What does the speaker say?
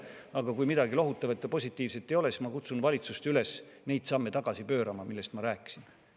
Aga kui midagi lohutavat ja positiivset ei ole, siis ma kutsun valitsust üles neid samme tagasi pöörama, millest ma rääkisin.